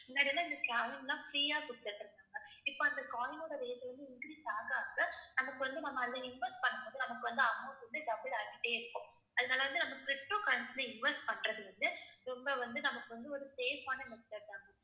முன்னாடி எல்லாம் இந்த coin எல்லாம் free யா கொடுத்துட்டு இருந்தாங்க. இப்ப அந்த coin ஓட rate வந்து increase ஆக ஆக நமக்கு வந்து நம்ம அதுல invest பண்ணும்போது நமக்கு வந்து amount வந்து double ஆகிட்டே இருக்கும். அதனால வந்து நம்ம ptocurrency ல invest பண்றது வந்து ரொம்ப வந்து நமக்கு வந்து ஒரு safe ஆன method தான் ma'am.